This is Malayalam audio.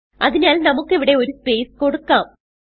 അതിനാൽ നമുക്ക് ഇവിടെ ഒരു സ്പേസ് കൊടുക്കാം